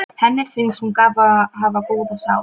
Henni finnst hún hafa góða sál.